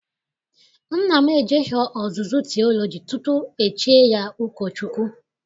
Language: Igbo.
Nna m ejeghị ọzụzụ tiọlọji tutu e chie ya ụkọchukwu.